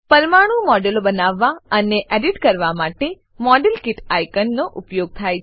પરમાણુ મોડેલો બનાવવા અને એડિટ કરવા માટે મોડેલકીટ આઇકોનનો ઉપયોગ થાય છે